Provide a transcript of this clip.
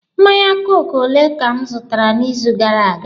Mmanya kooku ole ka m zụtara n'izu gara aga?